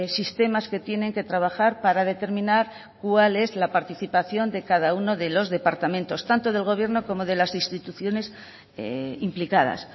sistemas que tienen que trabajar para determinar cuál es la participación de cada uno de los departamentos tanto del gobierno como de las instituciones implicadas